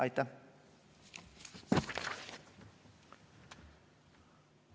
Aitäh!